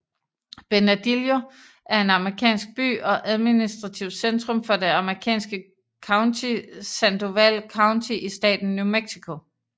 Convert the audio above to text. Bernalillo er en amerikansk by og administrativt centrum for det amerikanske county Sandoval County i staten New Mexico